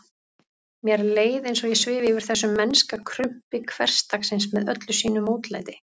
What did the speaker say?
Mér leið eins og ég svifi yfir þessu mennska krumpi hversdagsins með öllu sínu mótlæti.